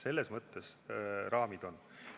Selles mõttes raamid on.